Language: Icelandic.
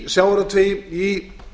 í sjávarútvegi í